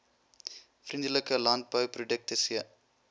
vriendelike landbouprodukte c